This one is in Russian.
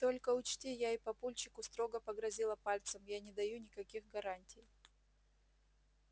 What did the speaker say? только учти и я папульчику строго погрозила пальцем я не даю никаких гарантий